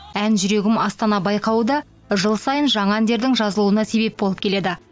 ән жүрегім астана байқауы да жыл сайын жаңа әндердің жазылуына себеп болып келеді